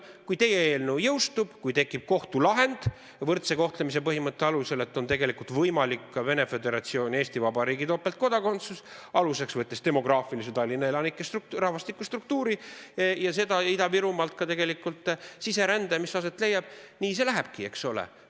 Kui teie eelnõu jõustub ja tekib kohtulahend, et võrdse kohtlemise põhimõtte alusel on tegelikult võimalik ka Vene Föderatsiooni ja Eesti Vabariigi topeltkodakondsus, siis võttes aluseks Tallinna elanike rahvastikustruktuuri ja Ida-Virumaalt lähtuva siserände, siis nii see lähebki, eks ole.